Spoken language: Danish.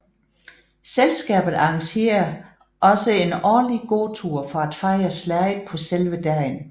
Selskabet arrangerer også en årlig gåtur for at fejre slaget på selve dagen